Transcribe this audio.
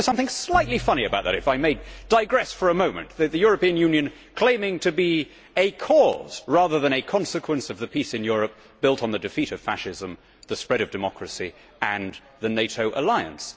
Isn't there something slightly funny about if I may digress for a moment the European Union claiming to be a cause, rather than a consequence of, the peace in Europe built on the defeat of fascism, the spread of democracy and the NATO alliance?